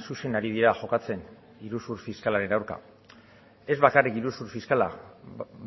zuzen ari dira jokatzen iruzur fiskalaren aurka ez bakarrik iruzur fiskala